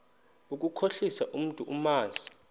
ukukhohlisa umntu omazi